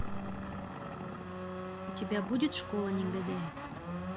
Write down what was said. у тебя будет школа негодяев